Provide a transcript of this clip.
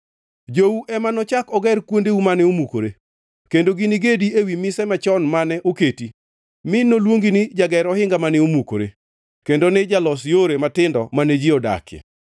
Jou ema nochak oger kuondeu mane omukore, kendo gini gedi ewi mise machon mane oketi, mi noluongi ni Jager Ohinga mane Omukore kendo ni Jalos Yore Matindo mane ji odakie.